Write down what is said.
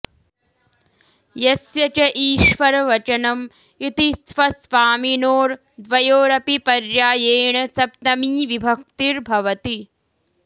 यस्य च ईश्वरवचनम् इति स्वस्वामिनोर्द्वयोरपि पर्यायेण सप्तमी विभक्तिर् भवति